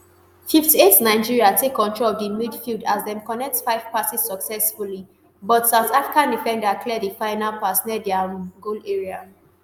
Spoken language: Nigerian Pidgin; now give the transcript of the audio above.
fifty-eight nigeria take control of di midfield as dem connect five passes successfully but south africa defender clear di final pass near dia um goal area